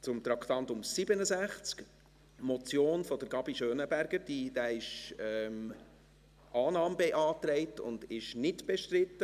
Bei Traktandum 67, der Motion Gabi Schönenberger ist Annahme beantragt und sie ist nicht bestritten.